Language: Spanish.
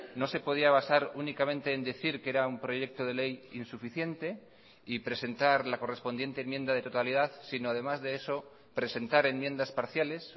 no se podía basar únicamente en decir que era un proyecto de ley insuficiente y presentar la correspondiente enmienda de totalidad sino además de eso presentar enmiendas parciales